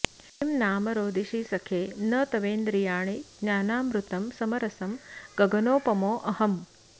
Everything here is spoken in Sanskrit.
किं नाम रोदिषि सखे न तवेन्द्रियाणि ज्ञानामृतं समरसं गगनोपमोऽहम्